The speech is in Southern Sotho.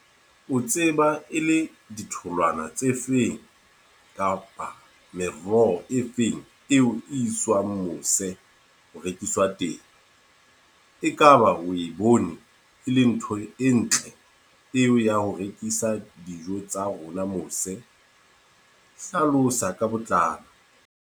O tseba e le ditholwana tse feng kapa meroho e feng eo iswang mose, ho rekiswa teng. E kaba o e bone e le ntho e ntle eo ya ho rekisa dijo tsa rona mose. Hlalosa ka botlalo.